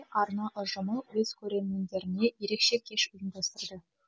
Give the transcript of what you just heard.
арна ұжымы өз көрермендеріне ерекше кеш ұйымдастырды